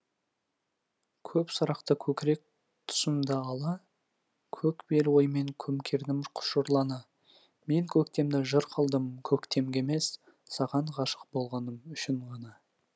көп сұрақты көкірек тұсымды ала көк бел оймен көмкердім құшырлана мен көктемді жыр қылдым көктемге емес саған ғашық болғаным үшін ғана